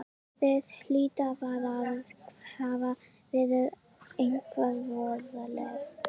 Það hlýtur bara að hafa verið eitthvað voðalegt.